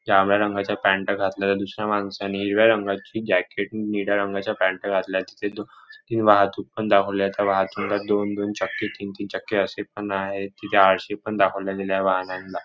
जांभळ्या रंगाचा पॅन्ट घातलेला दुसऱ्या माणसाने हिरव्या रंगाची जॅकेट निळ्या रंगाचा पॅन्ट घातलाय तिथे ही वाहतूक पण दाखवलीये त्या वाहतुकीला दोन-दोन छक्के तीन-तीन छक्के असे पण आहेत तिथे आरसे पण दाखवल्या गेलेए वाहनांला.